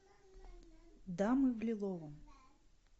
дамы в лиловом